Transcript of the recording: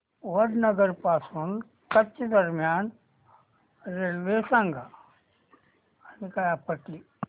वडनगर पासून कच्छ दरम्यान रेल्वे सांगा